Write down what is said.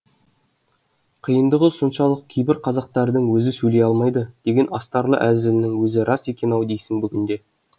қиындығы соншалық кейбір қазақтардың өзі сөйлей алмайды деген астарлы әзілінің өзі рас екен ау дейсің бүгінде